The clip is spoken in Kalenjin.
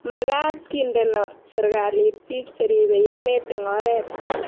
magaat kindeno serikalit biik cheribe emet eng oret